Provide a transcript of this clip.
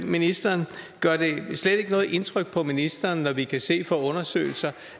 ministeren gør det slet ikke noget indtryk på ministeren når vi kan se fra undersøgelser